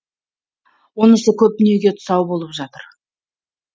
онысы көп дүниеге тұсау болып жатыр